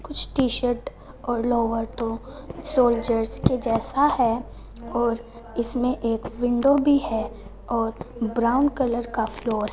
कुछ T shirt और lower तो सोल्जर के जैसा है और इसमें एक विंडो भी है और ब्राउन कलर का फ्लोर --